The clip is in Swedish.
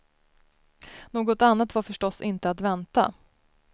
Något annat var förstås inte att vänta.